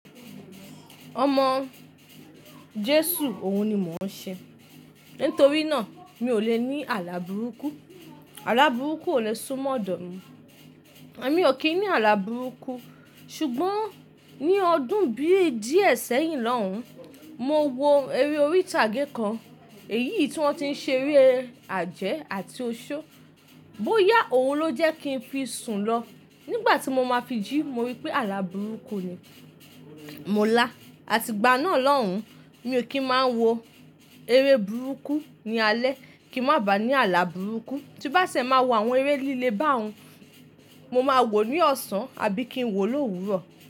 Ọmọ Jésù, òun ni mò ń ṣe. Nítorí náà, mi ò lè ní àlà burúkú. Àlà burúkú ò le é sunmo ọ́dọ̀ mi. Èmi ò kì í ní àlà burúkú ṣùgbọ́n ní ọdún bí i díẹ̀ sẹ́yìn lọ́hùn-ún, mo wo eré orí ìtàgé kan, èyí i tí wọ́n ti ń ṣe eré àjẹ́ àti oṣó. Bóyá òun ló jẹ́ kí n fi sùn lọ. Nígbà tí mo máa fi jí, mo rí pé àlà burúkú ni. Mo lá, àti ìgbà náà lọ́hùn-ún, mi ò kí máa wo eré burúkú ní alẹ́ kí má bà ní àlà burúkú. Tí bá ṣẹ máa wo àwọn eré líle báhun, mo máa wò ó ní ọ̀sán àbí kí n wò ó l'òwúrọ̀